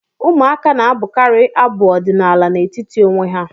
Ụmụaka na-abụkarị abụ ọdịnaala n'etiti onwe ha